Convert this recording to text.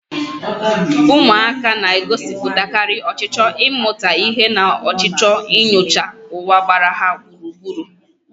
Ụmụaka na-egosipụtakarị ọchịchọ ịmata ihe na ọchịchọ inyocha ụwa gbara ha gburugburu.